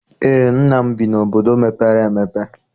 Eé, nna m bi n'obodo mepere emepe.